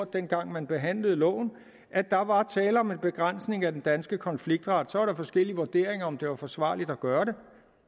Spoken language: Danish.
dengang man behandlede loven at der var tale om en begrænsning af den danske konfliktret så var der forskellige vurderinger af om det var forsvarligt at gøre det